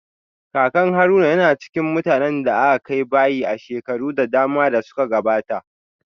Kakan Haruna yana cikin mutanen da aka kai bayi a shekaru da dama da suka gabata